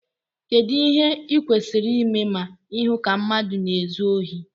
kedu ìhè ịkwésiri ịmé ma ịhụ ka mmadu na-ézu ohi?